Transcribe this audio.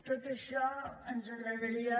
tot això ens agradaria